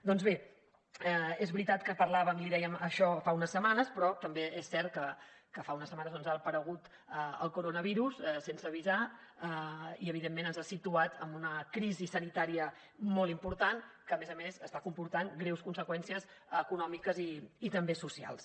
doncs bé és veritat que parlàvem li dèiem això fa unes setmanes però també és cert que fa unes setmanes ha aparegut el coronavirus sense avisar i evidentment ens ha situat en una crisi sanitària molt important que a més a més està comportant greus conseqüències econòmiques i també socials